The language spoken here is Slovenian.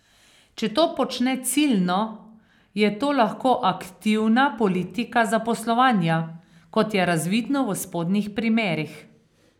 Če to počne ciljno, je to lahko aktivna politika zaposlovanja, kot je razvidno v spodnjih primerih.